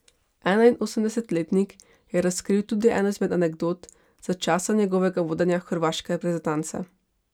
Enainosemdesetletnik je razkril tudi eno izmed anekdot za časa njegovega vodenja hrvaške reprezentance.